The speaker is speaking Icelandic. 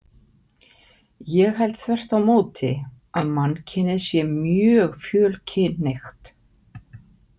Ég held þvert á móti að mannkynið sé mjög fjölkynhneigt.